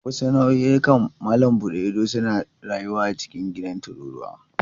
Wasu nau'ikan malam buɗe ido suna rayuwa a cikin gidan tururuwa.